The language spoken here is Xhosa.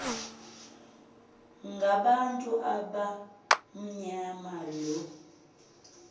ngabantu abamnyama lo